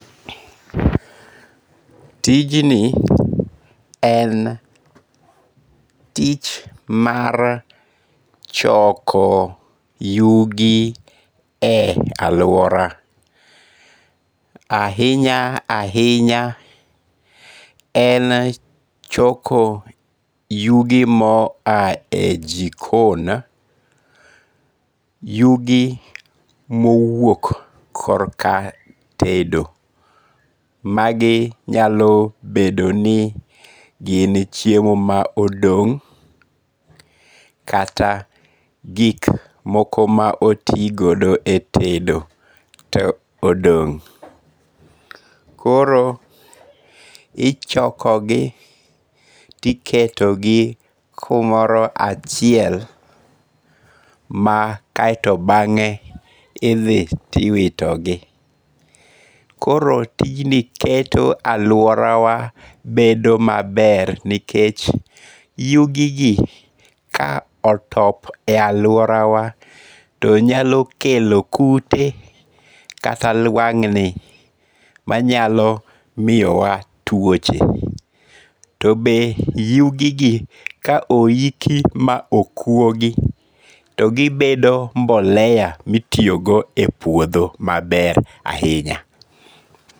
Tij ni en tich mar choko yugi e aluora. Ahinya ahinya, en choko yugi mo a e jikon. Yugi moowuok kor ka tedo. Magi nyalo bedo ni gin chiemo ma odong' kata gik moko ma otigodo e tedo to odong'. Koro ichoko gi tiketo di kumoro achiel ma kaeto bang'e idhi tiwito gi. Koro tijni keto aluora wa bedo maber nikech yugi gi ka otop e aluora wa to nyalo kelo kute kata lwang'ni manyalo miyowa tuoche. To be yugi gi ka oiki ma okuogi to gibedo mboleya mitiyogo e puodho maber ahinya.